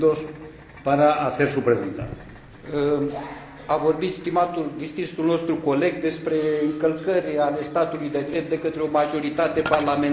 A vorbit stimatul, distinsul nostru coleg despre încălcări ale statului de drept de către o majoritate parlamentară, ceea ce, după mine, e o contradicție în termeni.